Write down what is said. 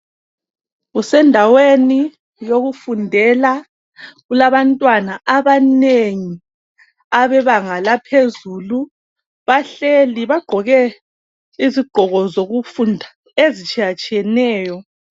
Kusendaweni yokufundela, kulabantwana abanengi abebanga laphezulu bahleli bagqoke izigqoko zokufunda ezitshiyatshiyeneyo.